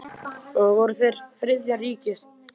Voru þeir Þriðja ríkið?